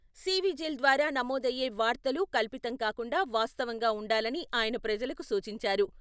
సివిజిల్ ద్వారా నమోదయ్యే వార్తలు కల్పితం కాకుండా వాస్తవం గా వుండాలని ఆయన ప్రజలకు సూచించారు.